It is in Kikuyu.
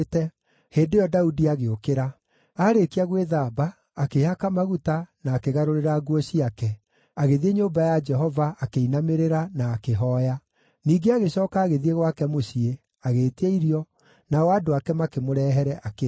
Hĩndĩ ĩyo Daudi agĩũkĩra. Aarĩkia gwĩthamba, akĩĩhaka maguta na akĩgarũrĩra nguo ciake, agĩthiĩ nyũmba ya Jehova, akĩinamĩrĩra, na akĩhooya. Ningĩ agĩcooka agĩthiĩ gwake mũciĩ, agĩĩtia irio, nao andũ ake makĩmũrehere, akĩrĩa.